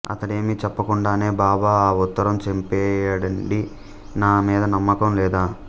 అతడేమీ చెప్పకుండానే బాబా ఆ ఉత్తరం చింపేయండి నా మీద నమ్మకం లేదా